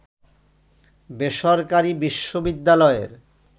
বেসরকারি বিশ্ববিদ্যালয়ের